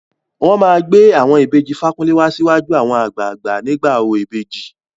Wọn máa gbé àwọn ìbejì Fakunle wá síwájú àwọn àgbààgbà nígbà orò ìbejì.